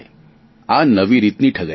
આ નવી રીતની ઠગાઇ છે